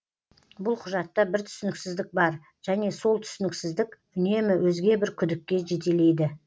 бұл құжатта бір түсініксіздік бар және сол түсініксіздік үнемі өзге бір күдікке жетелейді